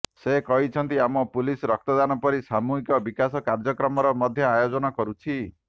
ସେ କହିଛନ୍ତି ଆମ ପୁଲିସ୍ ରକ୍ତଦାନ ପରି ସାମୁହିକ ବିକାଶ କାର୍ଯ୍ୟକ୍ରମର ମଧ୍ୟ ଆୟୋଜନ କରୁଛି